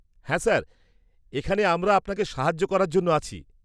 হ্যাঁ স্যার, এখানে আমরা আপনাকে সাহায্য করার জন্য আছি।